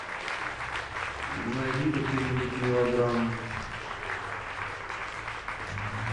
найди какую нибудь мелодраму